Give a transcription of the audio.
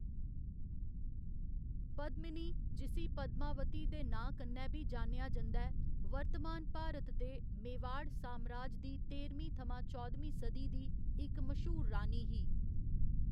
पद्‌मिनी, जिस्सी पद्‌मावती दे नांऽ कन्नै बी जान्नेआ जंदा ऐ, वर्तमान भारत दे मेवाड़ सामराज दी तेह्‌रमीं थमां चौदमीं सदी दी इक मश्हूर रानी ही।